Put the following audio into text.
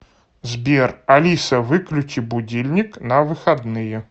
сбер алиса выключи будильник на выходные